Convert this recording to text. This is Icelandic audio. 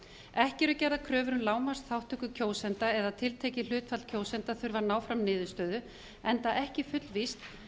ekki eru gerðar kröfur um lágmarksþátttöku kjósenda eða tiltekið hlutfall kjósenda þurfi að ná fram niðurstöðu enda ekki fullvíst